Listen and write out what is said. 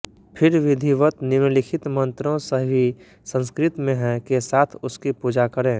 फ़िर विधिवत निम्नलिखित मन्त्रों सभी संस्कृत में हैं के साथ उसकी पूजा करें